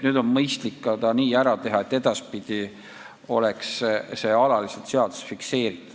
Siis on edaspidi, alates 1. jaanuarist järgmisel aastal see alaliselt seaduses fikseeritud.